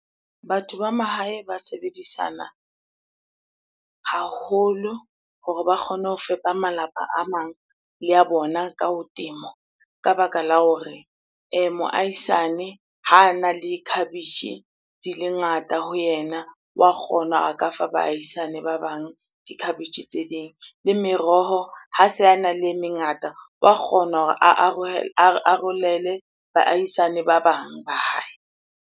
Batho ba mahae ba sebedisana haholo hore ba kgone ho fepa malapa a mang le a bona ka ho temo. Ka baka la hore moahisane ha ana le khabetjhe, di le ngata ho yena. Wa kgona a ka fa baahisane ba bang dikhabetjhe ding. Le meroho, ha se ana le e mengata wa kgona hore a arolele baahisane ba bang ba hae.